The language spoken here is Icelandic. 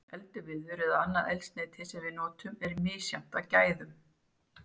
Eldiviður eða annað eldsneyti sem við notum er misjafnt að gæðum.